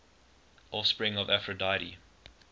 offspring of aphrodite